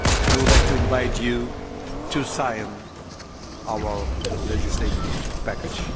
I would like to invite you to sign our legislative package.